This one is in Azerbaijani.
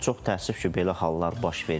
Çox təəssüf ki, belə hallar baş verir.